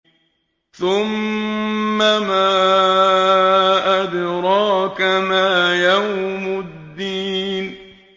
ثُمَّ مَا أَدْرَاكَ مَا يَوْمُ الدِّينِ